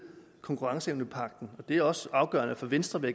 konkurrenceevnepagten det er også afgørende for venstre vil